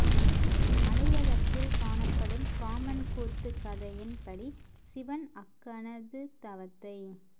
மலையகத்தில் காணப்படும் காமன் கூத்து கதையின் படி சிவன் அக்கணது தவத்தை